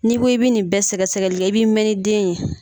N'i bɔ i bɛ nin bɛɛ sɛgɛsɛgɛli kɛ, i b'i mɛn ni den ye.